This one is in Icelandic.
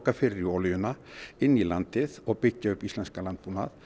fyrir olíuna inn í landi og byggja þá upp íslenskan landbúnað